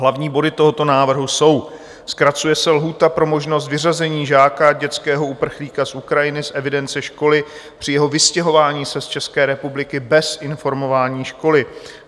Hlavní body tohoto návrhu jsou: zkracuje se lhůta pro možnost vyřazení žáka, dětského uprchlíka z Ukrajiny, z evidence školy při jeho vystěhování se z České republiky bez informování školy.